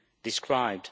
described.